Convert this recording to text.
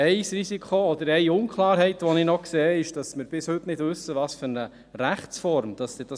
Ein Risiko oder eine Unklarheit, die ich noch sehe, ist, dass wir bis heute nicht wissen, welche Rechtsform das dann haben wird.